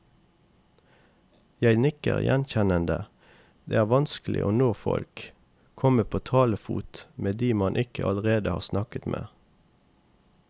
Jeg nikker gjenkjennende, det er vanskelig å nå folk, komme på talefot med de man ikke allerede har snakket med.